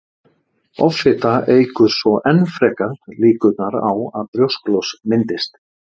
Offita eykur svo enn frekar líkurnar á að brjósklos myndist.